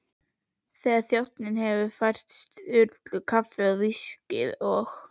Þegar þjónninn hefur fært Sturlu kaffið og viskíið, og